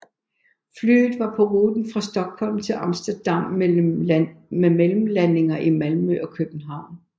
Flyet var på ruten fra Stockholm til Amsterdam med mellemlandinger i Malmø og København